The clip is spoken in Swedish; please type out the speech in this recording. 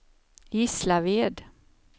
Gislaved